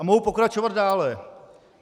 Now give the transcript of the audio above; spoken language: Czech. A mohu pokračovat dále.